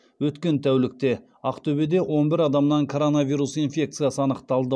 өткен тәулікте ақтөбеде он бір адамнан коронавирус инфекциясы анықталды